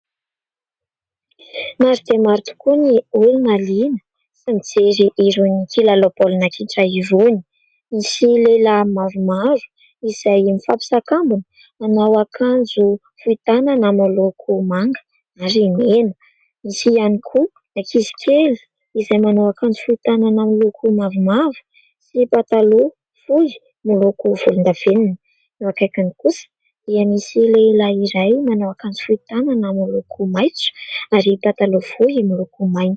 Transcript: Maro dia maro tokoa ny olona liana mijery irony kilalao baolina kitra irony. Misy lehilahy maromaro izay mifampisakambina manao akanjo fohy tanana miloko manga ary mena. Misy ihany koa ankizy kely izay manao akanjo fohy tanana miloko mavomavo sy pataloha fohy miloko volondavenona. Eo akaikiny kosa dia misy lehilahy iray manao akanjo fohy tanana miloko maitso ary pataloha fohy miloko mainty.